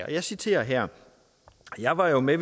og jeg citerer her jeg var jo med